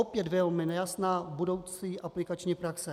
Opět velmi nejasná budoucí aplikační praxe.